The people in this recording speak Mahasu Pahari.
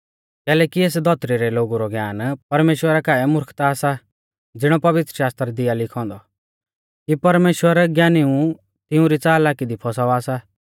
कैलैकि एस धौतरी रै लोगु रौ ज्ञान परमेश्‍वरा काऐ मुर्खता सा ज़िणौ पवित्रशास्त्रा दी आ लिखौ औन्दौ कि परमेश्‍वर ज्ञानिऊ तिऊं री च़ालाकी दी फौसावा सा